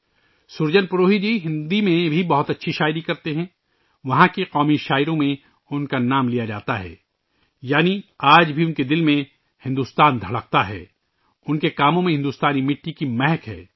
surgeon پروہی جی ہندی میں بہت اچھی شاعری لکھتے ہیں، ان کا نام وہاں کے قومی شاعروں میں لیا جاتا ہے یعنی آج بھی ان کے دل میں بھارت دھڑکتا ہے، ان کے کاموں میں بھارتی مٹی کی خوشبو ہے